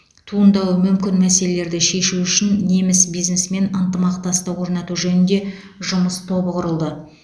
туындауы мүмкін мәселелерді шешу үшін неміс бизнесімен ынтымақтастық орнату жөнінде жұмыс тобы құрылды